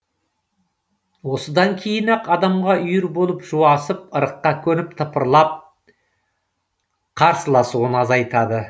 осыдан кейін ақ адамға үйір болып жуасып ырыққа көніп тыпырлап қарсыласуын азайтады